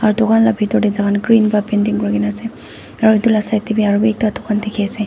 aru dukan la bitor te toh green para painting kuri kena ase aru etu la side te bi arubi ekta dukan dikhi ase.